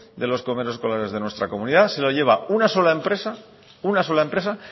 de los comedores escolares de nuestra comunidad se lo lleva una sola empresa